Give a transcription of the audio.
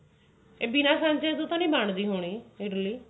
ਬਿਨਾ ਸਾਂਚਿਆਂ ਤੋਂ ਤਾਂ ਨੀ ਬਣਦੀ ਹੋਣੀ